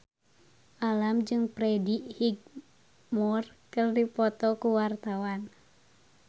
Alam jeung Freddie Highmore keur dipoto ku wartawan